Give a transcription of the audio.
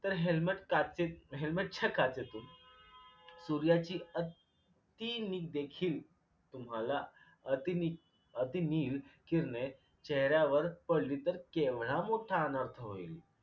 तर helmet काचे helmet काचेचे सूर्याची अतिनील देखील तुम्हाला अतिनि अतिनील किरणे चेहऱ्यावर पडली तर केवढा मोठा अनर्थ होईल?